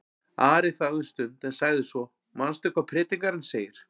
Ari þagði um stund en sagði svo: Manstu hvað Predikarinn segir?